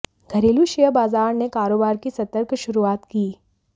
घरेलू शेयर बाजार ने कारोबार की सतर्क शुरुआत की